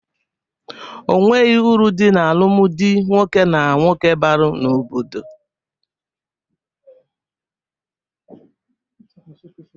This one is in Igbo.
Onweghi uru dị alụmdi nwoke na nwoke balụ n'obodo.